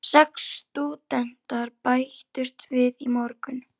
Sex stúdentar bættust við í morgun.